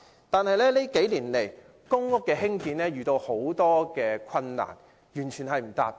但近年來，興建公屋遇到重重困難，以致完全未能達標。